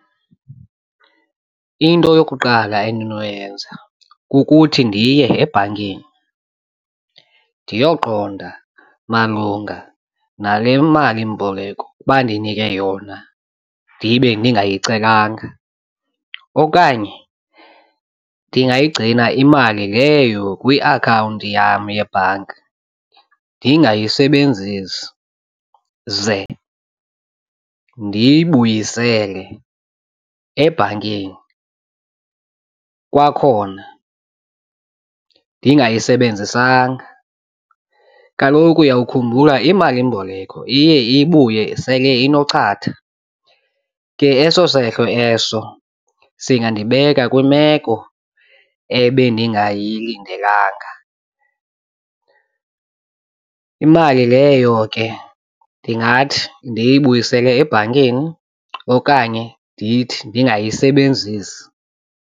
Into yokuqala endinoyenza kukuthi ndiye ebhankini ndiyoqonda malunga nale malimboleko bandinike yona ndibe ndingayicelanga. Okanye ndingayigcina imali leyo kwiakhawunti yam yebhanki ndingayisebenzisi ze ndiyibuyisele ebhankini kwakhona ndingayisebenzisanga. Kaloku uyawukhumbula imalimboleko iye ibuye sele inochatha, ke eso sehlo eso singandibeka kwimeko ebendingayilindelanga. Imali leyo ke ndingathi ndiyibuyisele ebhankini okanye ndithi ndingayisebenzisi.